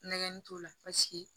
Nɛgɛnni t'o la paseke